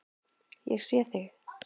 Ég sé þig.